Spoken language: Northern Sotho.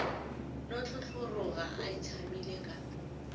no tlhotlhoroga a itshamile ka